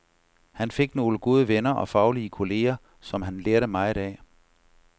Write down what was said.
Han fik nogle gode venner og faglige kolleger, som han lærte meget af.